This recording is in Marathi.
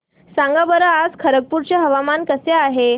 सांगा बरं आज खरगपूर चे हवामान कसे आहे